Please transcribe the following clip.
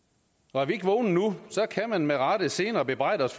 og er vi ikke vågne nu kan man med rette senere bebrejde os